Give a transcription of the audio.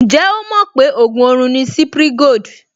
Ǹjẹ́ ó mọ̀ pé ògùn orun ni Cipri Gold?